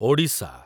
Odisha